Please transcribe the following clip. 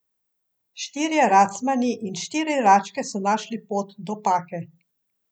Štirje racmani in štiri račke so našli pot do Pake.